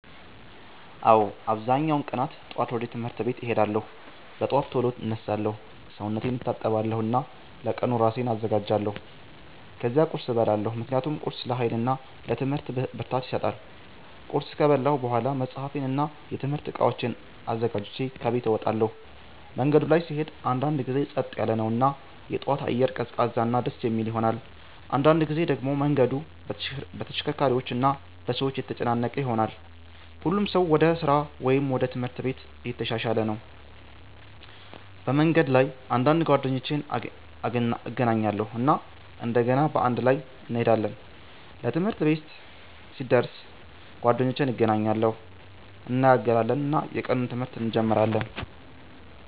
አዎ፣ አብዛኛውን ቀናት ጠዋት ወደ ትምህርት ቤት እሄዳለሁ። በጠዋት ቶሎ እነሳለሁ፣ ሰውነቴን እታጠባለሁ እና ለቀኑ እራሴን አዘጋጃለሁ። ከዚያ ቁርስ እበላለሁ ምክንያቱም ቁርስ ለኃይል እና ለትምህርት ብርታት ይሰጣል። ቁርስ ከበላሁ በኋላ መጽሐፌን እና የትምህርት እቃዎቼን አዘጋጅቼ ከቤት እወጣለሁ። መንገዱ ላይ ስሄድ አንዳንድ ጊዜ ጸጥ ያለ ነው እና የጠዋት አየር ቀዝቃዛ እና ደስ የሚል ይሆናል። አንዳንድ ጊዜ ደግሞ መንገዱ በተሽከርካሪዎች እና በሰዎች ተጨናነቀ ይሆናል፣ ሁሉም ሰው ወደ ስራ ወይም ወደ ትምህርት ቤት እየተሻሻለ ነው። በመንገድ ላይ አንዳንድ ጓደኞቼን እገናኛለሁ እና እንደገና በአንድ ላይ እንሄዳለን። ትምህርት ቤት ሲደርስ ጓደኞቼን እገናኛለሁ፣ እንነጋገራለን እና የቀኑን ትምህርት እንጀምራለን።